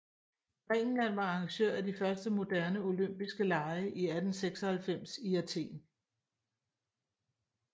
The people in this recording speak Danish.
Grækenland var arrangør af de første moderne olympiske lege i 1896 i Athen